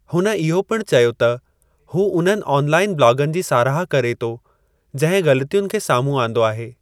हुन इहो पिणु चयो त हू उन्हनि ऑनलाइन ब्लॉगनि जी साराह करे थो जंहिं ग़लतियुनि खे साम्हूं आंदो आहे।